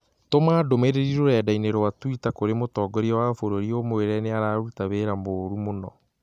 Tũma ndũmĩrĩri rũrenda - ĩni rũa tũita kũrĩ mũtongoria wa bũrũri ũmũire nĩ ararũta wĩĩra mũũru mũno.